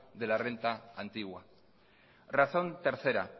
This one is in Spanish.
de la renta antigua razón tercera